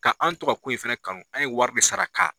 Ka an to ka ko in fɛnɛ kanu an ye wari de sara ka a